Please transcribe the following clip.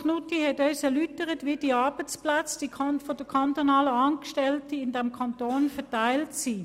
Knutti hat uns erläutert, wie die Arbeitsplätze der kantonalen Angestellten verteilt sind.